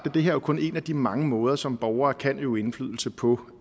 at det her kun er en af de mange måder som borgere kan øve indflydelse på